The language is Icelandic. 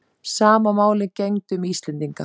Sama máli gegndi um Íslendinga.